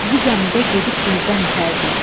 Bu zəmidə gedib gözdən itərdik.